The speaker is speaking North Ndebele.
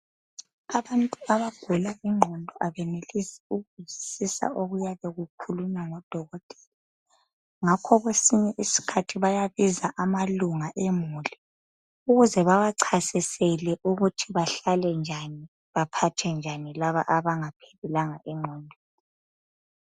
Abantu abagula ingqondo abenelisi ukuzwisisa okuyabe kukhulunywa ngudokotela ngakho kwesinye isikhathi bayabiza amalunga emuli ukuze bawachasisele ukuthi bahlale njani baphathe njani laba abngaphelelanga engqondweni .